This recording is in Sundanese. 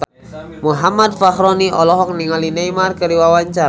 Muhammad Fachroni olohok ningali Neymar keur diwawancara